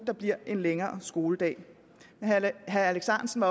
nu bliver en længere skoledag herre alex ahrendtsen